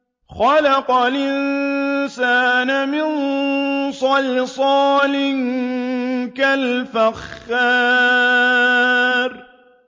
خَلَقَ الْإِنسَانَ مِن صَلْصَالٍ كَالْفَخَّارِ